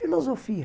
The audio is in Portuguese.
Filosofia.